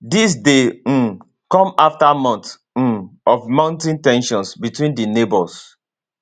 dis dey um come after months um of mounting ten sions between di neighbours